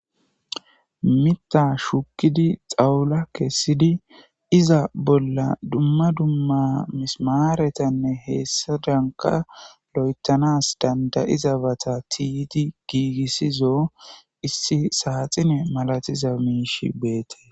Miththa shukkidi xawula kessidi iza bolla dumma dumma mismaaretanne heessadanka lo7etanas dandayiza bata tiyidi giigissizo issi saaxine malatiza miisha beetees.